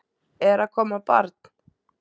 Er að koma barn?